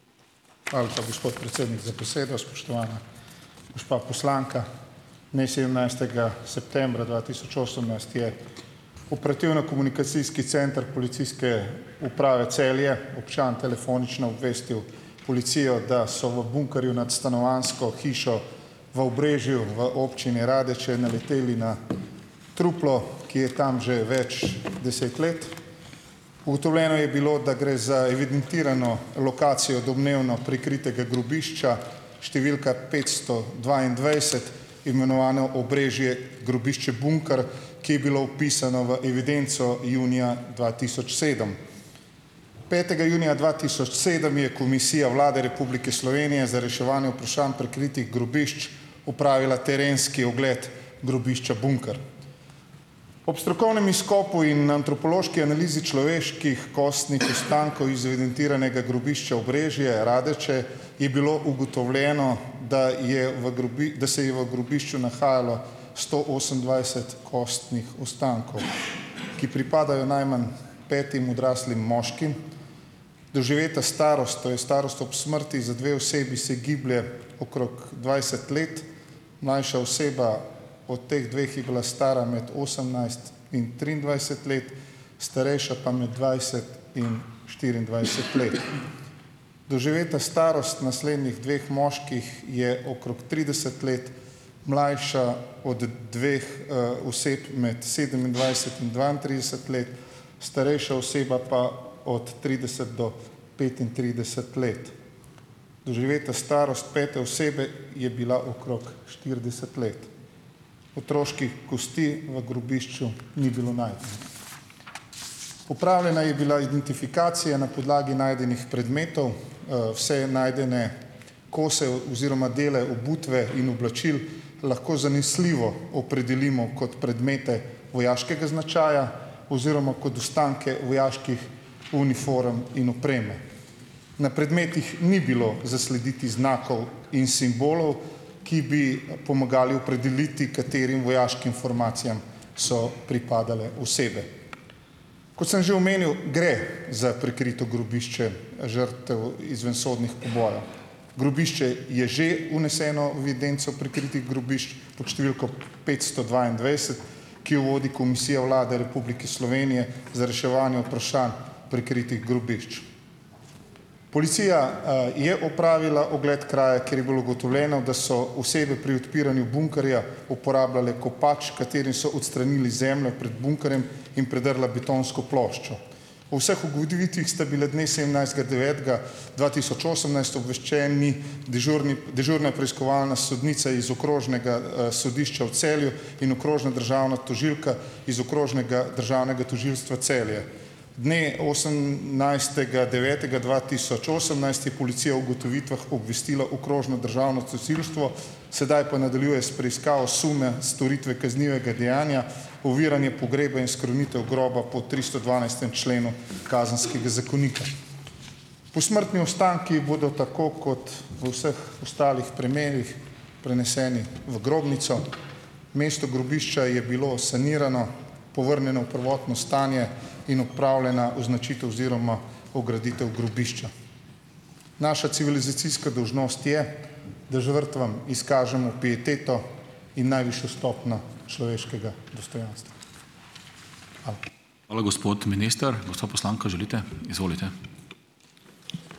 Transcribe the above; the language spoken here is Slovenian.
Gospod predsednik za besedo. Spoštovana gospa poslanka, dne sedemnajstega septembra dva tisoč osemnajst je Operativno-komunikacijski center Policijske uprave Celje, občan telefonično obvestil policijo, da so v bunkerju nad stanovanjsko hišo v Obrežju v občini Radeče naleteli na truplo, ki je tam že več deset let. Ugotovljeno je bilo, da gre za evidentirano lokacijo domnevno prikritega grobišča številka petsto dvaindvajset, imenovano Obrežje Grobišče Bunker, ki je bilo vpisano v evidenco junija dva tisoč sedem. Petega junija dva tisoč sedem je Komisija Vlade Republike Slovenije za reševanje vprašanj prikritih grobišč opravila terenski ogled Grobišča Bunker. Ob strokovnem izkopu in antropološki analizi človeških kostnih ostankov iz evidentiranega grobišča Obrežje Radeče je bilo ugotovljeno, da je v da se je v grobišču nahajalo sto osemindvajset kostnih ostankov, ki pripadajo najmanj petim odraslim moškim. Doživeta starost, to je starost ob smrti, za dve osebi se giblje okrog dvajset let, mlajša oseba od teh dveh je bila stara med osemnajst in triindvajset let, starejša pa med dvajset in štiriindvajset let. Doživeta starost naslednjih dveh moških je okrog trideset let, mlajša od dveh oseb med sedemindvajset in dvaintrideset let, starejša oseba pa od trideset do petintrideset let. Doživeta starost pete osebe je bila okrog štirideset let. Otroških kosti v grobišču ni bilo najti. Opravljena je bila identifikacija na podlagi najdenih predmetov. Vse najdene kose oziroma dele obutve in oblačil lahko zanesljivo opredelimo kot predmete vojaškega značaja oziroma kot ostanke vojaških uniform in opreme. Na predmetih ni bilo zaslediti znakov in simbolov, ki bi pomagali opredeliti, katerim vojaškim formacijam so pripadale osebe. Kot sem že omenil, gre za prikrito grobišče žrtev izvensodnih pobojev. Grobišče je že vneseno videnco prikritih grobišč pod številko petsto dvaindvajset, ki jo vodi Komisija Vlade Republike Slovenije za reševanje vprašanj prikritih grobišč. Policija je opravila ogled kraja, kjer je bilo ugotovljeno, da so osebe pri odpiranju bunkerja uporabljale kopač, kateri so odstranili zemljo pred bunkerjem, in predrla betonsko ploščo. Po vseh ugotovitvah sta bile dne sedemnajstega devetega dva tisoč osemnajst obveščeni dežurni dežurna preiskovalna sodnica iz Okrožnega sodišča v Celju in okrožna državna tožilka iz Okrožnega državnega tožilstva Celje. Dne osemnajstega devetega dva tisoč osemnajst je policija o ugotovitvah obvestila okrožno državno tožilstvo, sedaj pa nadaljuje s preiskavo sume storitve kaznivega dejanja oviranje pogreba in skrunitev groba po tristodvanajstem členu Kazenskega zakonika. Posmrtni ostanki bodo tako kot v vseh ostalih primerih preneseni v grobnico. Mesto grobišča je bilo sanirano, povrnjeno v prvotno stanje in opravljena oziroma ograditev grobišča. Naša civilizacijska dolžnost je, da žrtvam izkažemo pieteto in najvišjo stopnjo človeškega dostojanstva.